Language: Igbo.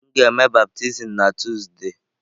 M ga-eme baptizim na Tuzdee.